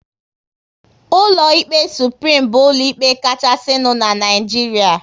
Ụlọ ikpe Suprim bụ ụlọ ikpe kachasinu n'Naijiria